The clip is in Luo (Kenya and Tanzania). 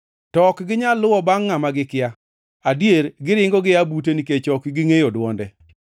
To ok ginyal luwo bangʼ ngʼama gikia. Adier, giringo gia bute nikech ok gingʼeyo dwonde.”